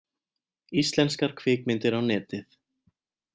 Íslenskar kvikmyndir á Netið